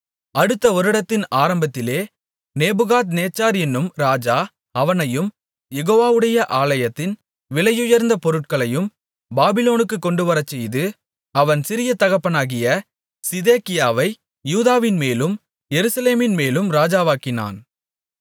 அடுத்த வருடத்தின் ஆரம்பத்திலே நேபுகாத்நேச்சார் என்னும் ராஜா அவனையும் யெகோவாவுடைய ஆலயத்தின் விலையுயர்ந்த பொருட்களையும் பாபிலோனுக்குக் கொண்டுவரச்செய்து அவன் சிறிய தகப்பனாகிய சிதேக்கியாவை யூதாவின்மேலும் எருசலேமின்மேலும் ராஜாவாக்கினான்